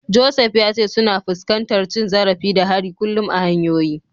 Joseph ya ce suna fuskantar cin zarafi da hari kullum a hanyoyi.